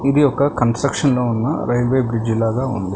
ఇది ఒక కన్స్ట్రక్షన్ లో ఉన్న రైల్వే బ్రిడ్జి లాగా ఉంది.